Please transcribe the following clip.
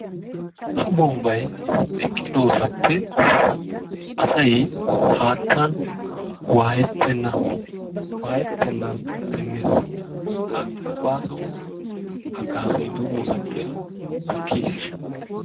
Ha bombbay eqqidoogaappe asay haattan waayrlettenna. Waayettennan demmees. Ha baaso haggaazay doommoosappe takkiis.